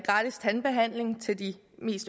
gratis tandbehandling til de